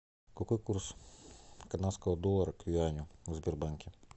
какой курс канадского доллара к юаню в сбербанке